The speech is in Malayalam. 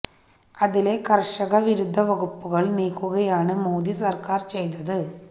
അതിലെ കര്ഷക വിരുദ്ധ വകുപ്പുകള് നീക്കുകയാണ് മോദി സര്ക്കാര് ചെയ്തത്